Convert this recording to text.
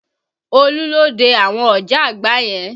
Olú ló dé àwọn ọ̀jágbàá yẹn